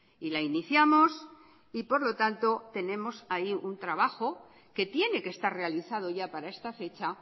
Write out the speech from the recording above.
y la iniciamos y por lo tanto tenemos ahí un trabajo que tiene que estar realizado ya para esta fecha